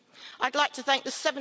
I'd like to thank the